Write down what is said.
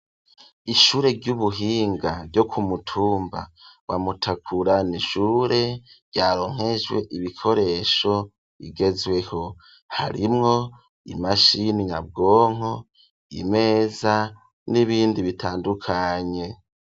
Ishure ry'ubuhinga ryo kumutumba wa Mutakura ni ishure ryaronkejwe ibikoresho bigezweho harimwo imashini nyabwonko imeza n'ibindi bitandukanye.